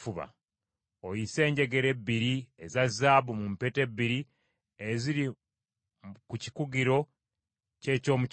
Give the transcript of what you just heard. Oyise enjegere ebbiri eza zaabu mu mpeta ebbiri eziri ku mikugiro gy’eky’omu kifuba.